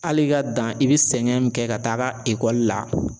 Hali i ka dan i bi sɛgɛn min kɛ ka taga ekɔli la